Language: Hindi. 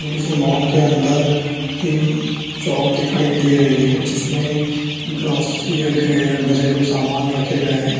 ये किसी मॉल के अंदर की चोप दिखाई दे रही है जिसमें ग्रोसरी रखे हैं घरेलू समान रखे गए हैं।